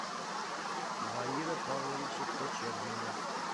баира павловича кочергина